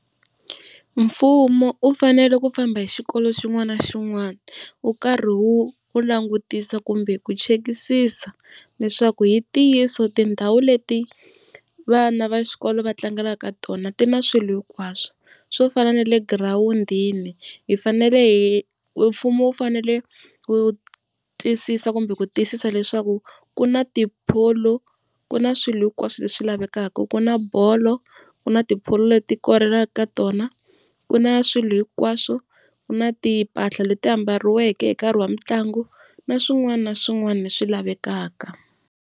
Mfumo u fanele ku famba hi xikolo xin'wana na xin'wana wu karhi wu langutisa kumbe ku chekisisa leswaku hi ntiyiso tindhawu leti vana va xikolo va tlangelaka tona ti na swilo hinkwaswo. Swo fana na le girawundini hi fanele hi, mfumo wu fanele wu twisisa kumbe ku tiyisisa leswaku ku na tipholo, ku na swilo hinkwaswo leswi lavekaka ku na bolo ku na tipholo leti korelaka ka tona, ku na swilo hinkwaswo, ku na timpahla leti ambariwaka hi nkarhi wa mitlangu na swin'wana na swin'wana leswi lavekaka.